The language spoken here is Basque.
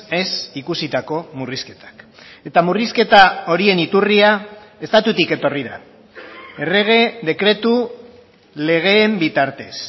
ez ikusitako murrizketak eta murrizketa horien iturria estatutik etorri da errege dekretu legeen bitartez